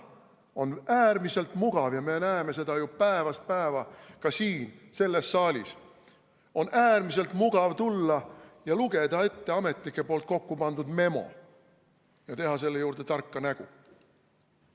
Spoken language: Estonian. On äärmiselt mugav – me näeme seda ju päevast päeva ka siin saalis – tulla ja lugeda ette ametnike kokkupandud memo ja teha selle juurde tarka nägu.